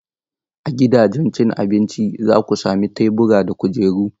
A gidajen cin abinci, za ku sami tebura da kujeru.